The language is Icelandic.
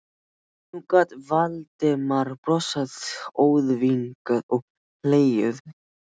Nú gat Valdimar brosað óþvingað og hlegið.